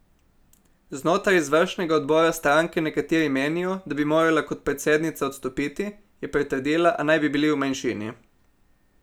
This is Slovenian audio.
Znotraj izvršnega odbora stranke nekateri menijo, da bi morala kot predsednica odstopiti, je pritrdila, a naj bi bili v manjšini.